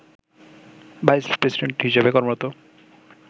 vice president হিসেবে কর্মরত